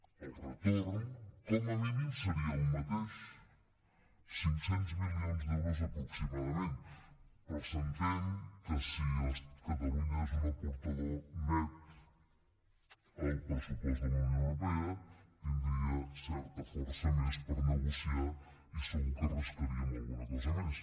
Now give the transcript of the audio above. el retorn com a mínim seria el mateix cinc cents milions d’euros aproximadament però s’entén que si catalunya és un aportador net al pressupost de la unió europea hi tindria certa força més per negociar i segur que en rascaríem alguna cosa més